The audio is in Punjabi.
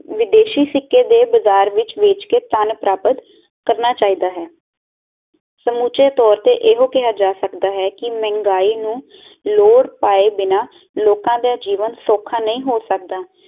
ਵਿਦੇਸ਼ੀ ਸਿੱਕੇ ਦੇ ਬਜ਼ਾਰ ਵਿਚ ਵੇਚ ਕੇ ਪਾਨ ਪ੍ਰਾਪਤ ਕਰਨਾ ਚਾਹੀਦਾ ਹੈ ਸਮੁਚੇ ਤੋਰ ਤੇ ਇਹੋ ਕਿਹਾ ਜਾ ਸਕਦਾ ਹੈ ਕਿ ਮਹਿੰਗਾਈ ਨੂੰ ਲੋੜ ਪਾਏ ਬਿਨਾ ਲੋਕਾ ਦਾ ਜੀਵਨ ਸੌਖਾ ਨਹੀਂ ਹੋ ਸਕਦਾ